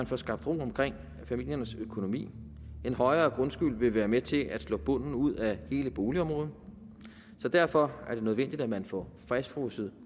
får skabt ro omkring familiernes økonomi en højere grundskyld vil være med til at slå bunden ud af hele boligområdet derfor er det nødvendigt at man får fastfrosset